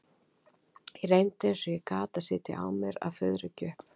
Ég reyndi eins og ég gat að sitja á mér að fuðra ekki upp.